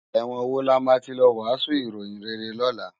Èwòn wó làmá ti lò wàsún iróyin réré lòlá?